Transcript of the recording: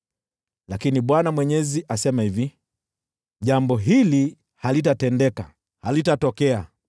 Lakini Bwana Mwenyezi asema hivi: “ ‘Jambo hili halitatendeka, halitatokea,